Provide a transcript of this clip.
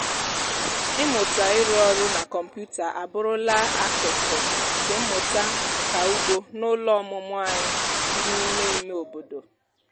ịmụta ịrụ ọrụ na kọmputa abụrụla akụkụ nke mmụta nka ugbo n'ụlọ ọmụmụ anyị dị n'ime ime obodo.